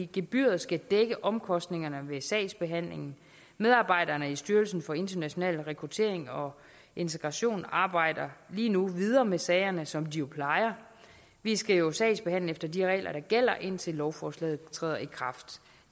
gebyret skal dække omkostningerne ved sagsbehandlingen medarbejderne i styrelsen for international rekruttering og integration arbejder lige nu videre med sagerne som de jo plejer vi skal jo sagsbehandle efter de regler der gælder indtil lovforslaget træder i kraft